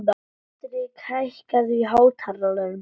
Hendrik, hækkaðu í hátalaranum.